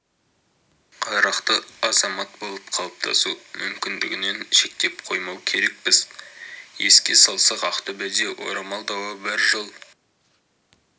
қарақты азамат болып қалыптасу мүмкіндігінен шектеп қоймау керекпіз еске салсақ ақтөбеде орамал дауы бір жыл